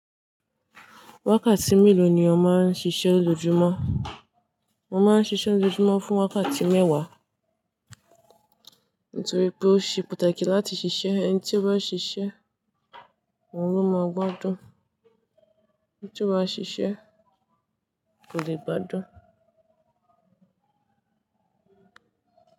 Wákàtí mélòó ni o máa ń ṣiṣẹ́ lojojumọ? Mo máa ń ṣiṣẹ́ lojojumọ fún wákàtí mẹ́wàá. Nítorí pé ó ṣe pàtàkì láti ṣiṣẹ́, ẹni tí o bá ṣiṣẹ́ òun ló máa gbádùn, ẹni tí o bá ṣiṣẹ́ kò lè gbádùn.